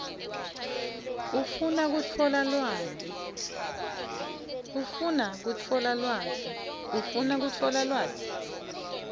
ufuna kutfola lwati